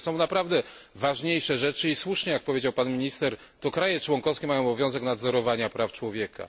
Są naprawdę ważniejsze rzeczy, i słusznie, jak powiedział pan minister, to kraje członkowskie mają obowiązek nadzorowania praw człowieka.